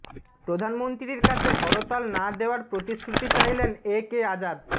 প্রধানমন্ত্রীর কাছে হরতাল না দেওয়ার প্রতিশ্রুতি চাইলেন এ কে আজাদ